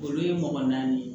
Olu ye mɔgɔ naani ye